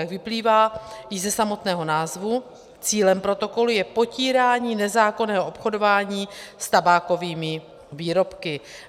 Jak vyplývá již ze samotného názvu, cílem protokolu je potírání nezákonného obchodování s tabákovými výrobky.